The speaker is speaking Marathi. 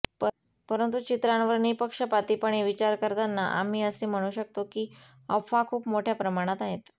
परंतु चित्रांवर निःपक्षपातीपणे विचार करतांना आम्ही असे म्हणू शकतो की अफवा खूप मोठ्या प्रमाणात आहेत